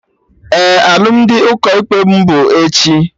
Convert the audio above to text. Ee, alụmdi ụkọ ikpe mụ bụ echi